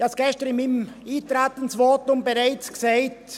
Ich habe es gestern in meinem Eintretensvotum bereits gesagt: